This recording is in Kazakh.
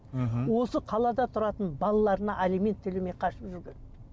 мхм осы қалада тұратын балаларына алимент төлемей қашып жүрген